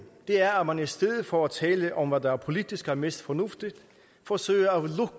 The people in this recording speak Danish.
er at man i stedet for at tale om hvad der politisk er mest fornuftigt forsøger